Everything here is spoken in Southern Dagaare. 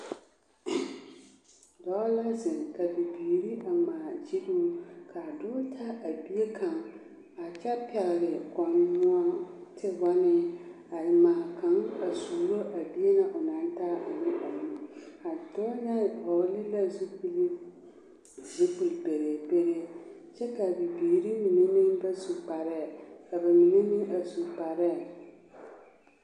Dɔɔ la zeŋ ka bibiiri a ŋmaa giluu k'a dɔɔ taa a bie kaŋ a kyɛ pɛgele tewɔnee a eŋaa kaŋ a suuro a bie na onaŋ taa ne a nu, a dɔɔ ŋa vɔgele la zupili, zupili pereeperee kyɛ k'a bibiiri mine meŋ ba su kparɛɛ ka ba mine meŋ a su kparɛɛ.